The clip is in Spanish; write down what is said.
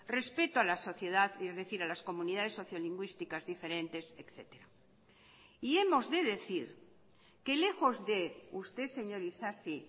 respeto a la sociedad y es decir a las comunidades sociolingüísticas diferentes etcétera y hemos de decir que lejos de usted señor isasi